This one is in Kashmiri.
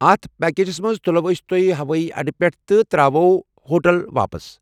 اتھ پیکیجس منٛز تُلوو أسۍ تُہۍ ہوٲیی اڈٕ پٮ۪ٹھٕ تہٕ ترٚاوَو ہوٹل واپس ۔